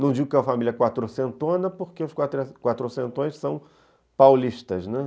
Não digo que é uma família quatrocentona, porque os quatrocentões são paulistas, né